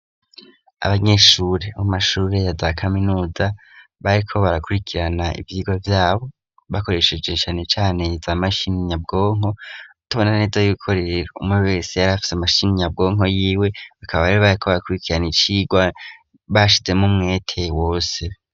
Abanyeshuri mu mashuri ya ba kaminuza bariko barakurikirana ivyigwa byabo bakoreshejeshane cane za mashini nyabwonko utubonaneza y'ibikorerero umwe wese yari afise amashini nyabwonko y'iwe bakaba bari bareko barakurikirana icigwa bashizemo mwete wose.